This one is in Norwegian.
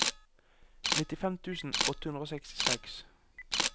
nittifem tusen åtte hundre og sekstiseks